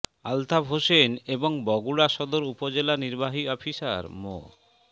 আলতাফ হোসেন এবং বগুড়া সদর উপজেলা নির্বাহী অফিসার মো